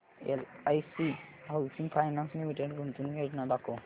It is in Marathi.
एलआयसी हाऊसिंग फायनान्स लिमिटेड गुंतवणूक योजना दाखव